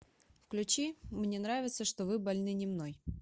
включи мне нравится что вы больны не мной